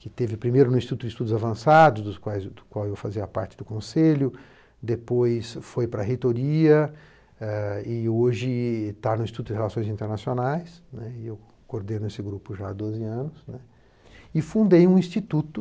que teve primeiro no Instituto de Estudos Avançados, do qual eu fazia parte do Conselho, depois foi para a Reitoria e hoje está no Instituto de Relações Internacionais, né, e eu coordeno esse grupo já há doze anos, e fundei um instituto